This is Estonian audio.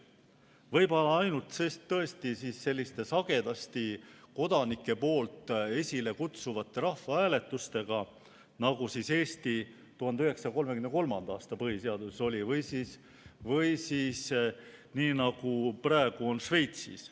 Võib-olla ainult tõesti selliste sagedasti kodanike poolt esilekutsutavate rahvahääletustega, nagu Eesti 1933. aasta põhiseaduses oli, või siis nii, nagu praegu on Šveitsis.